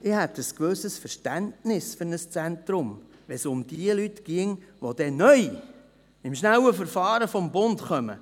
Ich hätte ein gewisses Verständnis für ein Zentrum, wenn es um jene Personen ginge, die neu, gemäss dem schnellen Verfahren des Bundes, kommen.